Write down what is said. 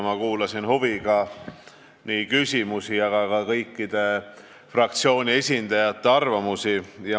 Ma kuulasin huviga nii küsimusi kui ka kõikide fraktsioonide esindajate arvamusi.